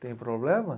Tem problema?